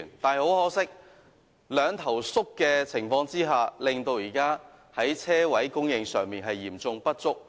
可惜，在"兩頭縮"的情況下，現時泊車位供應嚴重不足。